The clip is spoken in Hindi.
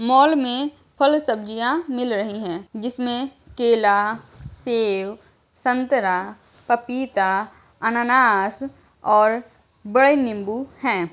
मॉल में फल सब्जियाँ मिल रही हैं जिसमे केला सेब संतरा पपीता अनानास और बड़े निम्बू हैं।